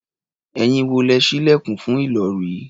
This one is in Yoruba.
Ẹ̀yin wo lẹ́ ṣí ilẹ̀kùn fún Ìlọ̀rí?